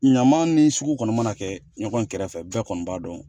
Ɲaman ni sugu kɔni mana kɛ ɲɔgɔn kɛrɛfɛ bɛɛ kɔni b'a dɔn